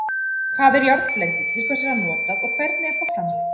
Hvað er járnblendi, til hvers er það notað og hvernig er það framleitt?